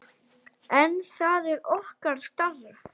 En það er okkar starf.